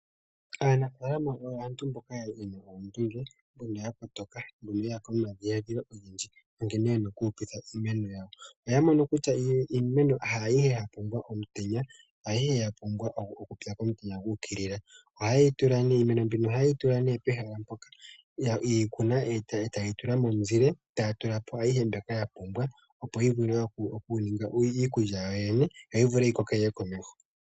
Aanafalama oyo aantu mboka yena oondunge noya kotoa, oye yapo nomadhiladhilo ogendji nkene ya pumbwa oku ko kitha iimeno yawo noya mono kutya iimeno ayihe yapumbwa omutenya, kupya komutenya gu uki lila. Iimeno ohaye yi tula ne pehala mpoka ye yi kuna etaye yi tula momu zile yo taya tulapo ashihe shoka yapumbwa opo yi vule oku ninga iikulya yo yi koke yiye komeho.